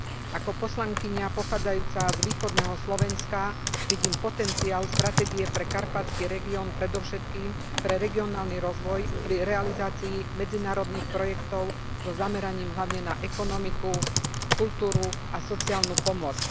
Ako poslankyňa pochádzajúca z východného Slovenska vidím potenciál stratégie pre karpatský región predovšetkým pre regionálny rozvoj, pri realizácii medzinárodných projektov so zameraním hlavne na ekonomiku, kultúru a sociálnu pomoc.